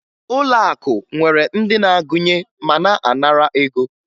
Ụlọakụ nwere ndị na-agụnye ma na-anara ego